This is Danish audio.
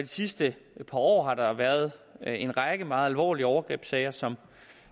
sidste par år har der været en række meget alvorlige overgrebssager som